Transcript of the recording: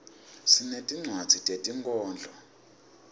sinetinwadzi tetinkhondlo